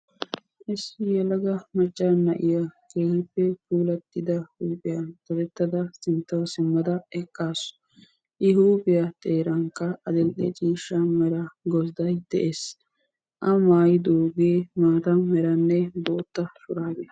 Issi yelaga macca na'iya keehippe puulattida huuphiya dadettada sinttawu simmada eqqaasu. I huuphiya xeerankka adil"e mera gozdday de'ees. A maayidoogee maata meranne bootta shuraabiya.